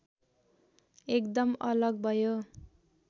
एकदम अलग भयो